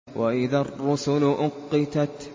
وَإِذَا الرُّسُلُ أُقِّتَتْ